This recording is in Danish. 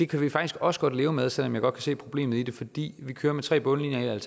kan vi faktisk også godt leve med selv om jeg godt kan se problemet i det fordi vi kører med tre bundlinjer her